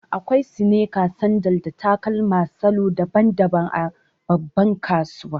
Akwai sneakers, sandal, da takalma salo daban-daban a babban kasuwa.